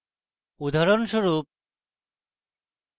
উদাহরণস্বরূপ